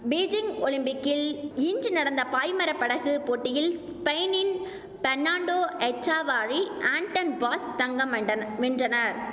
Beijing ஒலிம்பிக்கில் இன்று நடந்த பாய்மர படகு போட்டியில் ஸ்பெயினின் பெர்ணான்டோ எச்சாவாரி அன்டன் பாஸ் தங்கம் வெண்டன வென்றனர்